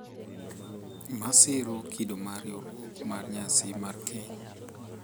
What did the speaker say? Masiro kido mar riwruok mar nyasi mar keny.